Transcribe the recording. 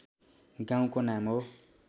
गाउँको नाम हो